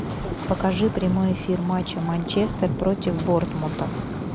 покажи прямой эфир матча манчестер против борнмута